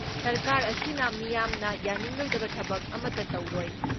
ꯁꯔꯀꯥꯔ ꯑꯁꯤꯅ ꯃꯤꯌꯥꯝꯅ ꯌꯥꯅꯤꯡꯂꯣꯏꯗꯕ ꯊꯕꯛ ꯑꯃꯠꯇ ꯇꯧꯔꯣꯏ ꯫